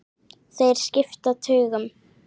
Þeir skipta tugum.